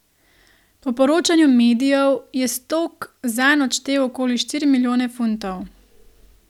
Po poročanju medijev je Stoke zanj odštel okoli štiri milijone funtov.